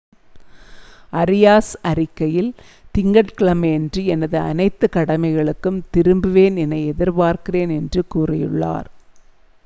"Areas அறிக்கையில்," திங்கட் கிழமையன்று எனது அனைத்து கடமைகளுக்கும் திரும்புவேன் என எதிர்பார்க்கிறேன்" என்று கூறியுள்ளார்.